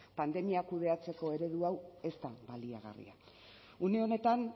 pandemia kudeatzeko eredu hau ez da baliagarria une honetan